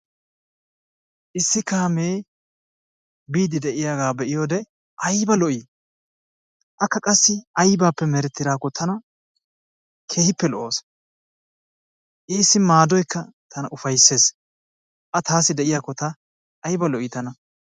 Issi kaamee biiddi de'iyagaa be'iyode ayba lo'ii? Akka qassi aybaappe merettidaakko tana iita lo'awusu. Issi maadoykka tana ufayssees. A taassi de'yakko ayba lo'ii tana.